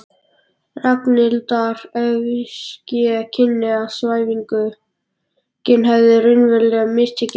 Ragnhildar, ef ske kynni að svæfingin hefði raunverulega mistekist.